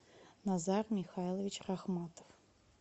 назар михайлович рахматов